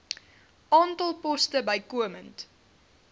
aantal poste bykomend